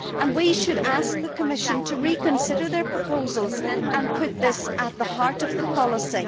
We should ask the Commission to reconsider its proposals and put this at the heart of the policy.